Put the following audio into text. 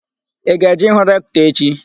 Ị ga-eje ịhụ Rektọ echi?